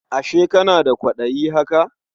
Ashe kana da kwaɗayi haka?